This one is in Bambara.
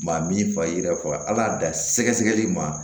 Maa min fa ye yiri faga ala y'a dan sɛgɛsɛgɛli ma